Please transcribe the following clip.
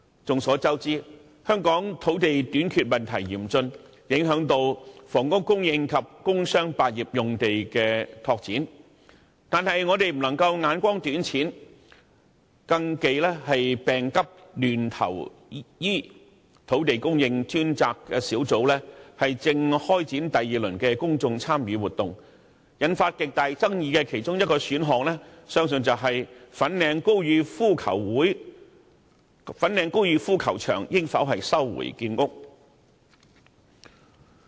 眾所周知，香港土地短缺問題嚴峻，影響房屋供應及工商百業用地的拓展，但我們不能目光短淺，更忌病急亂投醫，土地供應專責小組正開展第二輪的公眾參與活動，引發極大爭議的其中一個選項，相信便是粉嶺高爾夫球場應否收回建屋。